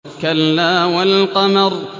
كَلَّا وَالْقَمَرِ